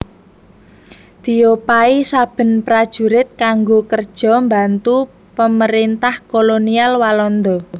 Diopahi saben prajurit kanggo kerjo mbantu Pemerintah Kolonial Walanda